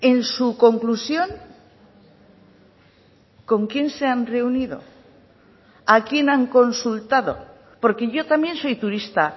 en su conclusión con quién se han reunido a quién han consultado porque yo también soy turista